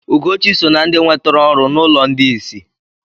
Ugochi so na ndị nwetere ọrụ n'ụlọ ndị isi.